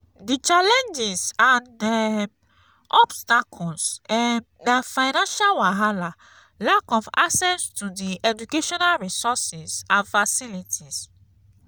di challenges and um obstacles um na financial wahala lack of access to di educational resources and facilities.